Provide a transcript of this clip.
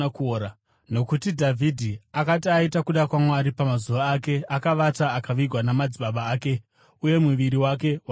“Nokuti Dhavhidhi akati aita kuda kwaMwari pamazuva ake, akavata; akavigwa namadzibaba ake uye muviri wake wakaora.